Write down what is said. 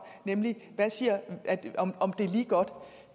nemlig om det er lige godt